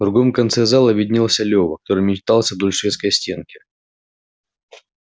в другом конце зала виднелся лёва который метался вдоль шведской стенки